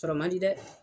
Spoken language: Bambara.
Sɔrɔ man di dɛ